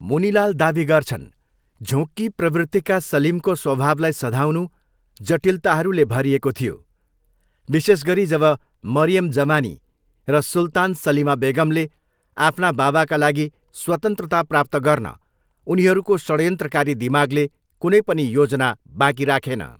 मुनिलाल दावी गर्छन्, 'झोँक्की प्रवृत्तिका सलिमको स्वभावलाई सधाउनु जटिलताहरूले भरिएको थियो, विशेष गरी जब मरियम जमानी र सुल्तान सलिमा बेगमले आफ्ना बाबाका लागि स्वतन्त्रता प्राप्त गर्न उनीहरूको षड्यन्त्रकारी दिमागले कुनै पनि योजना बाँकी राखेन।